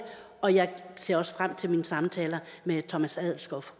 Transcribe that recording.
og jeg ser også frem til mine samtaler med thomas adelskov fra